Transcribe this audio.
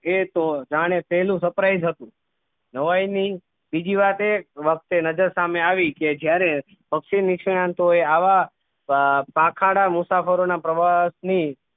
એ તો જાણે પહેલુ surprise હતું નવાઈ ની બીજી વાત એ વખતે નજર સામે આવી કે જ્યારે પક્ષી નિષ્ણાંતો એ આવા પાંખાડા મુસાફરો ના પ્રવાસની